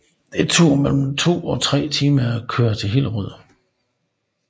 Det tog mellem 2 og 3 timer at køre til Hillerød